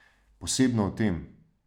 Posebno v tem.